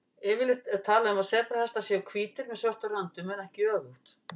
Yfirleitt er talað um að sebrahestar séu hvítir með svörtum röndum en ekki öfugt.